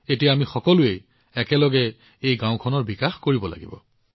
এতিয়া আমি সকলোৱে একেলগে গাওঁখনৰ উন্নয়ন কৰিব লাগিব